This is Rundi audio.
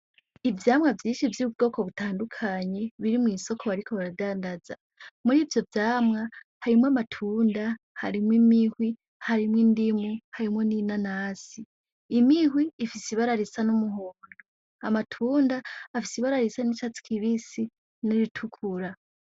Ivyamwa vyinshi vy'ubwoko butandukanye biri mw'isoko bariko baradandaza. Murivyo vyamwa, harimwo amatunda, harimwo imihwi, harimwo indimu, harimwo n'inanasi. Imihwi ifise ibara risa n'umuhondo, amatunda afise ibara risa n'icatsi kibisi n'iritukura.